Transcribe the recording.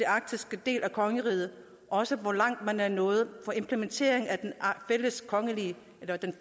arktiske del af kongeriget og også hvor langt man er nået med implementeringen af kongerigets